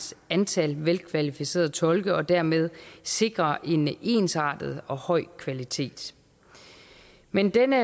antal velkvalificerede tolke og dermed sikre en ensartet og høj kvalitet men denne